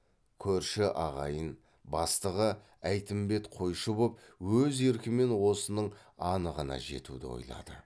көрші ағайын бастығы әйтімбет қойшы боп өз еркімен осының анығына жетуді ойлады